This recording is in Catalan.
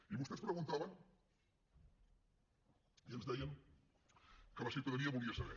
i vostès preguntaven i ens deien que la ciutadania volia saber